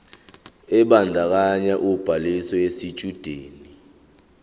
ebandakanya ubhaliso yesitshudeni